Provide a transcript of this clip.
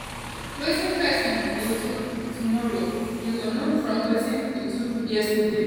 "wetin pesin go do um do um tomorrow you go know from wetin e do yesterday.